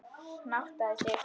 Hann áttaði sig.